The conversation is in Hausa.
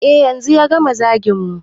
E yanzu ya gama zagin mu